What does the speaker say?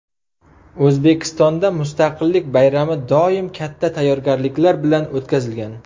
O‘zbekistonda Mustaqillik bayrami doim katta tayyorgarliklar bilan o‘tkazilgan.